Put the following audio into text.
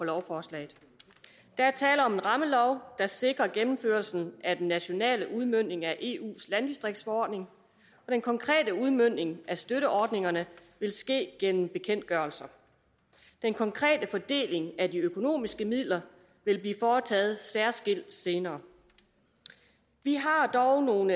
lovforslaget der er tale om en rammelov der sikrer gennemførelsen af den nationale udmøntning af eus landdistriktsforordning og den konkrete udmøntning af støtteordningerne vil ske gennem bekendtgørelser den konkrete fordeling af de økonomiske midler vil blive foretaget særskilt senere vi har dog nogle